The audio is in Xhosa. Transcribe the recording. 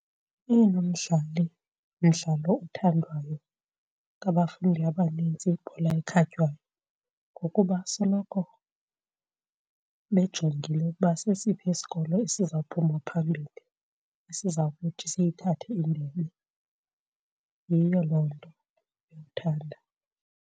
Oyena mdlali, mdlalo othandwayo ngabafundi abanintsi yibhola ekhatywayo ngokuba soloko bejongile ukuba sesiphi isikolo esizawuphuma phambili, esiza kuthi siyithathe indebe. Yiyo loo nto bewuthanda.